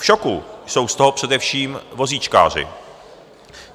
V šoku jsou z toho především vozíčkáři.